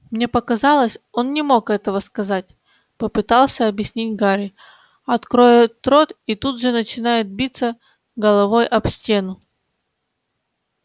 мне показалось он не мог этого сказать попытался объяснить гарри откроет рот и тут же начинает биться головой об стену